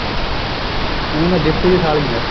ਕਹਿੰਦੀ ਮੈਂ ਡਿਪਟੀ ਦੀ ਸਾਲੀ ਆਂ